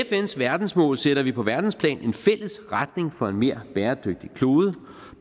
fns verdensmål sætter vi på verdensplan en fælles retning for en mere bæredygtig klode